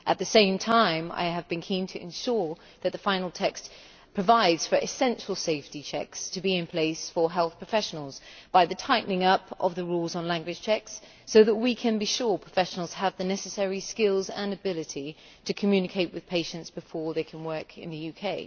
At the same time I have been keen to ensure that the final text provides for essential safety checks to be in place for health professionals, by tightening up the rules on language checks so that we can be sure professionals have the necessary skills and ability to communicate with patients before they can work in the UK.